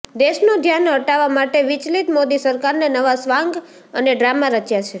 દેશનું ધ્યાન હટાવા માટે વિચલિત મોદી સરકારને નવા સ્વાંગ અને ડ્રામા રચ્યા છે